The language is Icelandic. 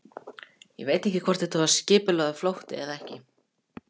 Ég veit ekkert hvort það var skipulagður flótti eða ekki.